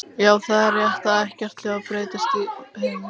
Já, það er rétt að ekkert hljóð berst um geiminn.